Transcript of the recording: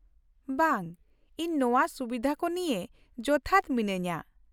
ᱵᱟᱝ ᱾ ᱤᱧ ᱱᱚᱶᱟ ᱥᱩᱵᱤᱫᱷᱟ ᱠᱚ ᱱᱤᱭᱟᱹ ᱡᱚᱛᱷᱟᱛ ᱢᱤᱱᱟᱹᱧᱟᱹ ᱾